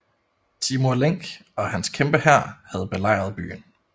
Timur Lenk og hans kæmpe hær havde belejret byen